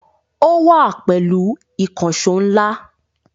Ó wá pẹ̀lú ìkànṣọ́ ńlá